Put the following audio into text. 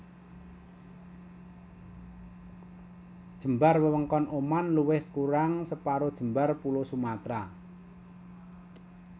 Jembar wewengkon Oman luwih kurang separo jembar Pulo Sumatra